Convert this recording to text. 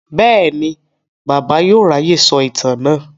Bẹ́ẹ̀ni, Bàbá yóò ráyè sọ ìtàn náà.